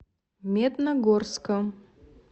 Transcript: медногорском